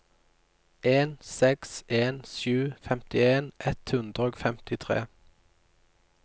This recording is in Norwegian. en seks en sju femtien ett hundre og femtitre